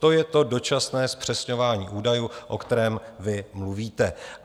To je to dočasné zpřesňování údajů, o kterém vy mluvíte.